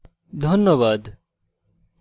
ধন্যবাদ